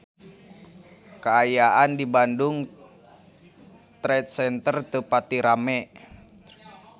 Kaayaan di Bandung Trade Center teu pati rame